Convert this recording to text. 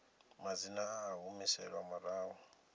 madzina a a humiselwa murahu